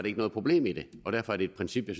ikke noget problem i det og derfor er det et princip